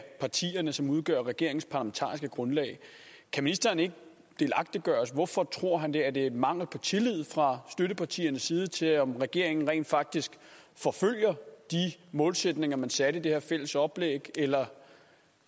partierne som udgør regeringens parlamentariske grundlag kan ministeren ikke delagtiggøre os i hvorfor han tror det er der mangel på tillid fra støttepartiernes side til om regeringen rent faktisk forfølger de målsætninger man satte i det her fælles oplæg eller